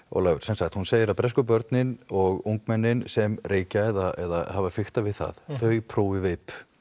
Ólafur sem sagt hún segir að bresku börnin og ungmennin sem reykja eða hafa fiktað við það þau prófi veip